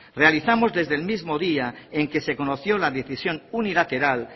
realizamos desde el mismo día en que se conoció la decisión unilateral